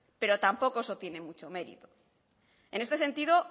pero tampoco eso tiene mucho mérito en este sentido